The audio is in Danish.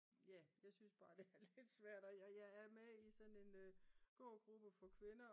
Ja jeg synes bare det er lidt svært og jeg er med i sådan en gå gruppe for kvinder